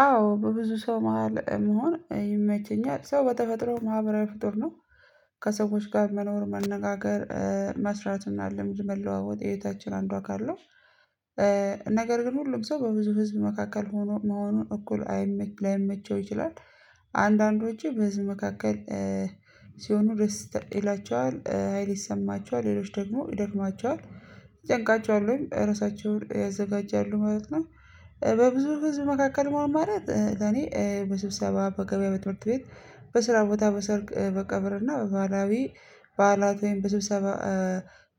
አዎ በብዙ ሰው መሃል መሆን ይመቸኛል ሰው በተፈጥሮ ማህበራዊ ፍጡር ነው ከሰዎች ጋር መኖር መነጋገር መስራት እና ልምድ መለዋወጥ የህይወታችን አንዱ አካል ነው። ነገር ግን ሁሉም ሰው በብዙ ህዝብ መካከል መሆኑን እኩል ላይመቸው ይችላል። አንዳንዶቹ በህዝብ በመካከል ሲሆኑ ደስ ይላቸዋል ሀይል ይሰማቸዋል ሌሎች ደግሞ ይደክማቸዋል ይጨንቃቸዋል ወይም ራሳቸውን ያዘጋጃሉ ማለት ነው። በብዙ ህዝብ መካከል መሆን ማለት ለኔ በስብሰባ በገበያ በትምህርት ቤት በስራ ቦታ በሰርግ በቀብር እና በባህላዊ በዓላት ወይም በስብሰባ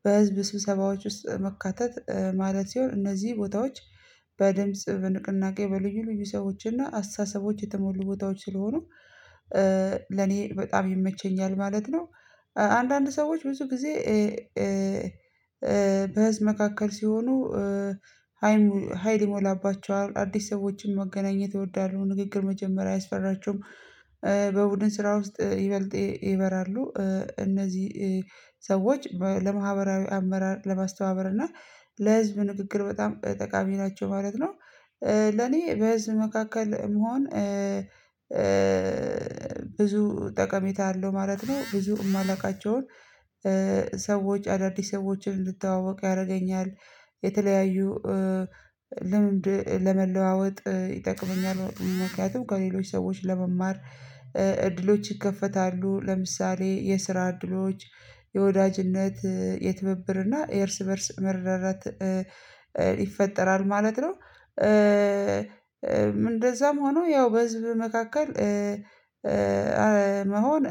በህዝብ ስብሰባዎች ውስጥ መካተት ማለት ሲሆን እነዚህ ቦታዎች በድምጽ በንቅናቄ በልዩ ልዩ ሰዎች እና አስተሳሰቦች የተሞሉ ቦታዎች ስለሆኑ ለኔ በጣም ይመቸኛል ማለት ነው። አንዳንድ ሰዎች ብዙ ጊዜ በህዝብ መካከል ሲሆኑ ሀይል ሀይል ይሞላባቸዋል አዲስ ሰዎችን መገናኘት ይወዳሉ ንግግር መጀመሪያ አያስፈራቸውም። በቡድን ስራ ውስጥ ይበልጥ ይበራሉ እነዚህ ሰዎች ለማህበራዊ አመራር ለማስተባበር እና ለህዝብ ንግግር በጣም ጠቃሚ ናቸው ማለት ነው። ለኔ በህዝብ መካከል መሆን ብዙ ጠቀሜታ አለው ማለት ነው ብዙ የማላውቃቸውን ሰዎች አዳዲስ ሰዎችን እንድተዋወቅ ያረገኛል። የተለያዩ ልምድ ለመለዋወጥ ይጠቅመኛል ምክንያቱም ከሌሎች ሰዎች ለመማር እድሎች ይከፈታሉ ለምሳሌ የስራ እድሎች የወዳጅነት የትብብር እና የእርስ በእርስ መረዳዳት ይፈጠራል ማለት ነው። እንደዛም ሆኖ ያው በህዝብ መካከል መሆን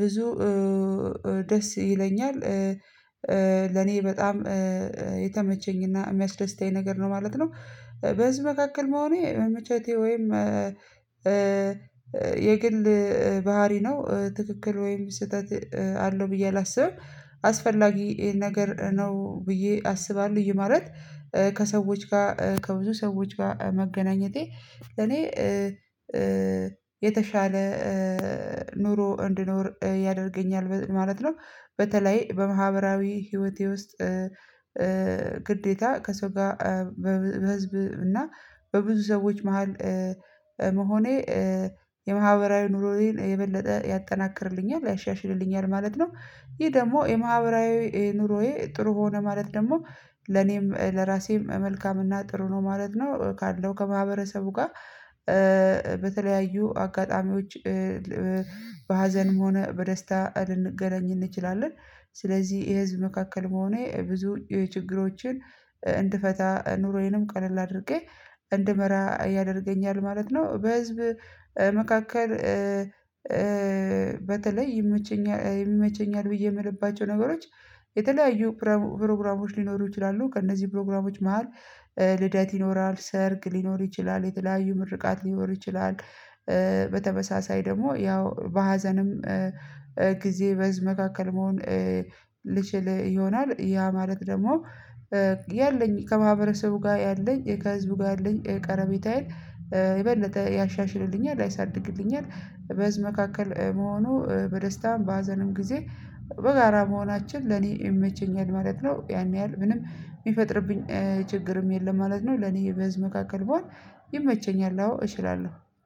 ብዙ ደስ ይለኛል። ለኔ በጣም የተመቸኝና የሚያስደስተኝ ነገር ነው ማለት ነው። በዚህ መካከል መሆኔ መመቼቴ ወይም የግል ባህሪ ነው ትክክል ወይም ስህተት አለው ብዬ አላስብም። አስፈላጊ ይሄን ነገር ነው ብዬ አስባለሁ ይህ ማለት ከሰዎች ጋር ከብዙ ሰዎች ጋር መገናኘቴ ለእኔ የተሻለ ኑሮ እንድኖር ያደርገኛል ማለት ነው። በተለይ በማህበራዊ ህይወቴ ውስጥ ግዴታ ከሰው ጋር በህዝብ እና በብዙ ሰዎች መሃል መሆኔ የማህበራዊ ኑሮዬን የበለጠ ያጠናክርልኛል ያሻሽልልኛል ማለት ነው። ይሄ ደግሞ የማህበራዊ ኑሮዬ ጥሩ ሆነ ማለት ደግሞ ለኔም ለራሴም መልካምና ጥሩ ነው ማለት ነው። ካለው ከማህበረሰቡ ጋር በተለያዩ አጋጣሚዎች በሀዘንም ሆነ በደስታ ልንገናኝ እንችላለን። ስለዚህ የህዝብ መካከል መሆኔ ብዙ የችግሮችን እንድፈታ ኑሮዬንም ቀለል አድርጌ እንድመራ ያደርገኛል ማለት ነው። በህዝብ መካከል በተለይ ይመቸኛል ብዬ ምልባቸው ነገሮች የተለያዩ ፕሮግራሞች ሊኖሩ ይችላሉ ከእነዚህ ፕሮግራሞች መሃል ልደት ይኖራል ሰርግ ሊኖር ይችላል የተለያዩ ምርቃት ሊኖር ይችላል። በተመሳሳይ ደግሞ ያው በሀዘንም ጊዜ በህዝብ መካከል መሆን ልችል ይሆናል ያ ማለት ደግሞ ያለኝ ከማህበረሰቡ ጋር ያለኝ ከህዝቡ ጋር አለኝ ቀረቤታዬን የበለጠ ያሻሽልልኛል ያሳድግልኛል። በዚህ መካከል መሆኑ በደስታም በሀዘንም ጊዜ በጋራ መሆናችን ለኔ ይመቸኛል ማለት ነው። ያን ያህል ምንም ሚፈጥርብኝ ችግርም የለም ማለት ነው። ለኔ የበዝ መካከል ብሆን ይመቸኛል አዎ እችላለሁ